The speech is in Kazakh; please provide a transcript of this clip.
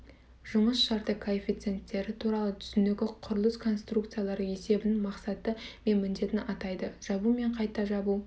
жұмыс шарты коэффициенттері туралы түсінігі құрылыс конструкциялары есебінің мақсаты мен міндетін атайды жабу мен қайта жабу